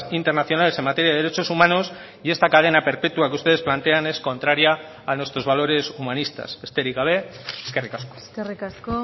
internacionales en materia de derechos humanos y esta cadena perpetua que ustedes plantean es contraria a nuestros valores humanistas besterik gabe eskerrik asko eskerrik asko